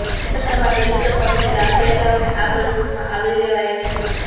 મહારાષ્ટ્રમાં દલિતો પર થયેલા અત્યાચારોને આ પ્રદર્શનમાં આવરી લેવાયા છે